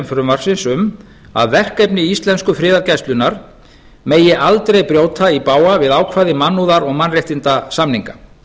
frumvarpsins um að verkefni íslensku friðargæslunnar megi aldrei brjóta í bága við ákvæði mannúðar og mannréttindasamninga